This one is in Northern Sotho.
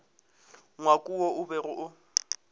ngwako wo o bego o